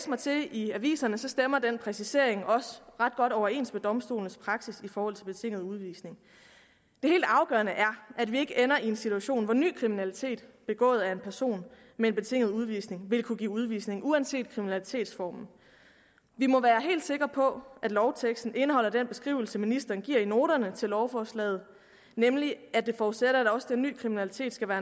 mig til i aviserne stemmer den præcisering også ret godt overens med domstolenes praksis i forhold til betinget udvisning det helt afgørende er at vi ikke ender i en situation hvor ny kriminalitet begået af en person med en betinget udvisning vil kunne give udvisning uanset kriminalitetsformen vi må være helt sikre på at lovteksten indeholder den beskrivelse ministeren giver i noterne til lovforslaget nemlig at det forudsætter at også den ny kriminalitet skal være